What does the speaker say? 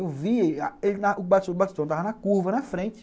Eu vi... O estava na curva, na frente.